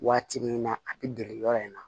Waati min na a bɛ dege yɔrɔ in na